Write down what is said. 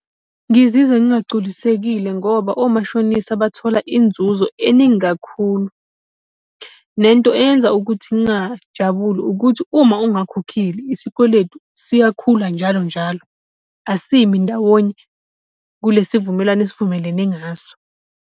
Ngizizwa ngingagculisekile ngoba omashonisa bathola inzuzo eningi kakhulu. Lento eyenza ukuthi ngingajabuli ukuthi uma ungakhokhile iskweletu siyakhula njalo njalo, asimi ndawonye. Kulesi vumelwano esivumelane ngaso.